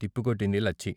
తిప్పికొట్టింది Lachchi.